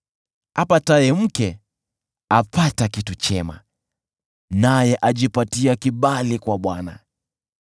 Apataye mke apata kitu chema naye ajipatia kibali kwa Bwana .